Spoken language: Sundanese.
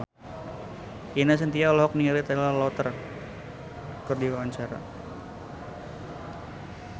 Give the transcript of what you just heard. Ine Shintya olohok ningali Taylor Lautner keur diwawancara